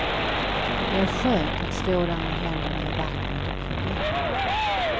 Det är skönt att stå där med händerna i vattnet och fundera.